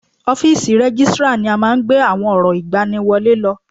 Ọ́físì Rẹ́gìstrar ni a máa ń gbé àwọn ọ̀rọ̀ ìgbani wọlé lọ